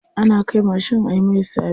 Ana kai mashin ayi mai sabis.